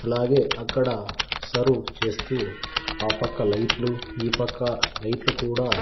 అలాగే అక్కడ సర్వు చేస్తూ ఆ పక్క లైట్లు ఈ పక్క లైట్లు కూడా.